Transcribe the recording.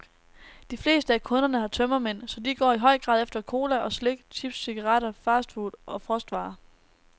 De fleste af kunderne har tømmermænd, så de går i høj grad efter cola og slik, chips, cigaretter, fastfood og frostvarer.